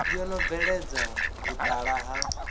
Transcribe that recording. yo no bveledza vhutala ha